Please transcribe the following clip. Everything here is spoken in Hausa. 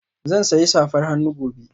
Zan sayi safar hannu gobe